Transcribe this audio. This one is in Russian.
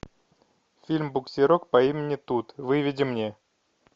фильм буксирок по имени тут выведи мне